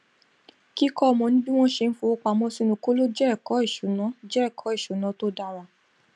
kíkọ ọmọ ní bí wón ṣe ń fowó pamọ sínú kóló jẹ ẹkọ ìṣúná jẹ ẹkọ ìṣúná tó dára